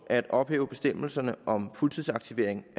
at ophæve bestemmelserne om fuldtidsaktivering